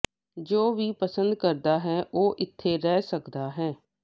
ਜੋ ਵੀ ਪਸੰਦ ਕਰਦਾ ਹੈ ਉਹ ਇੱਥੇ ਰਹਿ ਸਕਦਾ ਹੈ